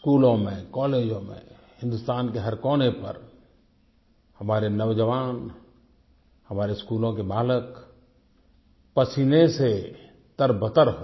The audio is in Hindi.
स्कूलों में कॉलेजों में हिन्दुस्तान के हर कोने पर हमारे नौजवान हमारे स्कूलों के बालक पसीने से तरबतर हों